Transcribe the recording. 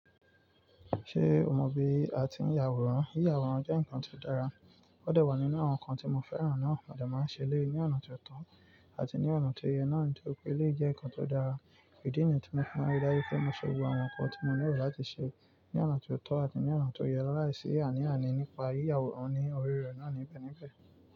Ṣé o mọ bí a ti ń yàwòrán? Yí yàwòrán jẹ́ nǹkan tó dára. Ó de wá nínú àwọn nǹkan tí mo fẹ́ràn náà, mo de máa ń ṣe eléyi ní ọ̀nà tó tọ́ àti ní ọ̀nà tó yẹ náà nítori pé eleyi jẹ́ nǹkan tó dára. Idi nìyẹn tí mo fi mọ ri daju pé mo ṣe gbogbo àwọn nǹkan tí mo nílò láti ṣe ní ọ̀nà tó tọ́ àti ní ọ̀nà tó yẹ lálai si àní àní nípa yí yàwòrán ní ọ̀ri rẹ̀ náà níbẹ̀ níbẹ̀